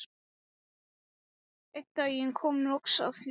Einn daginn kom loks að því.